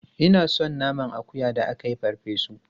Ina son naman akuya da aka yi farfe su.